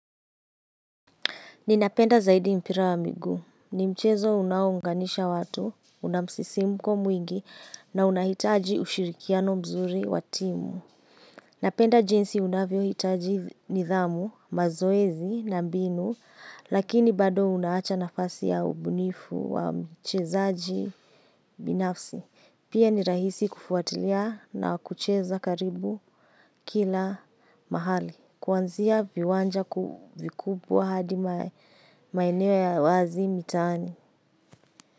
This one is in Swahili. Ninapenda zaidi mpira wa miguu. Ni mchezo unaounganisha watu, unamsisimko mwingi na unahitaji ushirikiano mzuri wa timu. Napenda jinsi unavyohitaji nidhamu, mazoezi na mbinu, lakini bado unaacha nafasi ya ubunifu wa mchezaji binafsi. Pia ni rahisi kufuatilia na kucheza karibu kila mahali. Kwanzia viwanja vikubwa hadi maeneo ya wazi mitaani.